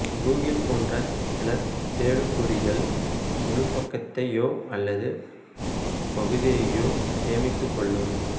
Google போன்ற சில தேடுபொறிகள் முழுப்பக்கத்தையோ அல்லது பகுதியையோ சேமித்துக் கொள்ளும்